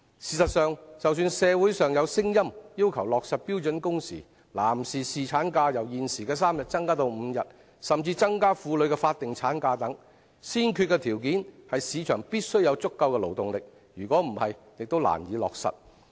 事實上，儘管社會上有聲音要求落實標準工時、將男士侍產假由現時的3天增至5天，甚至增加婦女的法定產假，但先決條件是市場必須有足夠的勞動力，否則也難以落實。